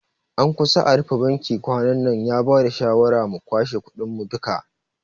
An kusa a rufe bankin kwanannan, ya bada shawara mu kwashe kudin mu duka